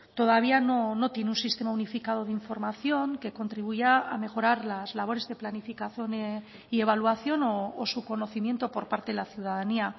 todavía no tiene un sistema unificado de información que contribuya a mejorar las labores de planificación y evaluación o su conocimiento por parte de la ciudadanía